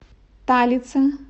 талице